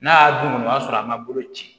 N'a y'a dun o y'a sɔrɔ a ma bolo ci